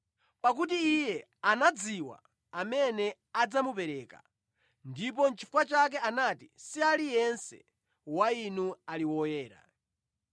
Pakuti Iye anadziwa amene adzamupereka, ndipo nʼchifukwa chake anati saliyense wa inu ali woyera.